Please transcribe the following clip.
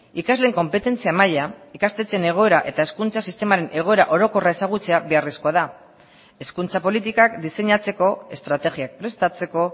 ikasleen konpetentzia maila ikastetxeen egoera eta hezkuntza sistemaren egoera orokorra ezagutzea beharrezkoa da hezkuntza politikak diseinatzeko estrategiak prestatzeko